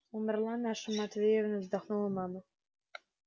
умерла наша матвеевна вздохнула мама